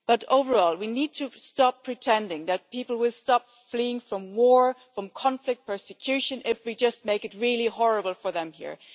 Overall, we need to stop pretending that people will stop fleeing from war, from conflict, from persecution if we just make it really horrible for them here.